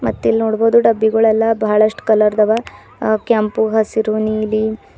ಮತ್ತ್ ಇಲ್ ನೋಡ್ಬಹುದು ಡಬ್ಬಿಗೊಳ್ ಎಲ್ಲಾ ಬಾಳಷ್ಟ್ ಕಲರ್ ದ ಅವ ಕೆಂಪು ಹಸಿರು ನೀಲಿ--